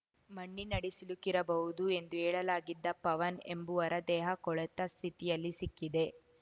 ಮಣ್ಣಿನಡಿ ಸಿಲುಕಿರಬಹುದು ಎಂದು ಹೇಳಲಾಗಿದ್ದ ಪವನ್‌ ಎಂಬುವರ ದೇಹ ಕೊಳೆತ ಸ್ಥಿತಿಯಲ್ಲಿ ಸಿಕ್ಕಿದೆ